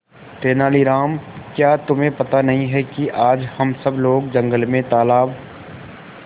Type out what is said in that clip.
तेनालीराम क्या तुम्हें पता नहीं है कि आज हम सब लोग जंगल में तालाब